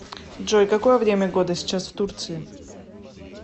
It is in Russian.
джой какое время года сейчас в турции